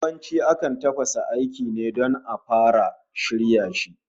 Yawanci akan tafasa ainci ne don a fara shirya shi